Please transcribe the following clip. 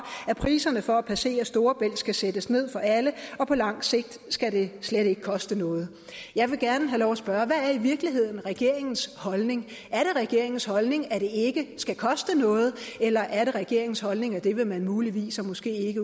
at priserne for at passere storebælt skal sættes ned for alle på lang sigt skal det slet ikke koste noget jeg vil gerne have lov at spørge hvad er i virkeligheden regeringens holdning er det regeringens holdning at det ikke skal koste noget eller er det regeringens holdning at det vil man muligvis og måske